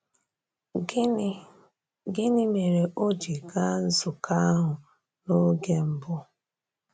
Gịnị Gịnị mere o ji gaa nzukọ ahụ n’oge mbụ?